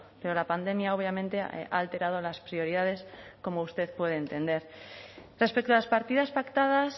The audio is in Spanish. pero la pandemia obviamente ha alterado las prioridades como usted puede entender respecto a las partidas pactadas